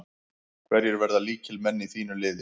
Hverjir verða lykilmenn í þínu liði?